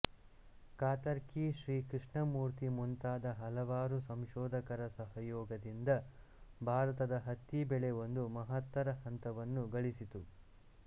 ಕಾತರ್ಕಿ ಶ್ರೀ ಕೃಷ್ಣಮೂರ್ತಿ ಮುಂತಾದ ಹಲವಾರು ಸಂಶೋಧಕರ ಸಹಯೋಗದಿಂದ ಭಾರತದ ಹತ್ತಿ ಬೆಳೆ ಒಂದು ಮಹತ್ತರ ಹಂತವನ್ನು ಗಳಿಸಿತು